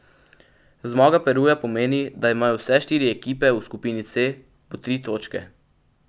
Zmaga Peruja pomeni, da imajo vse štiri ekipe v skupini C po tri točke.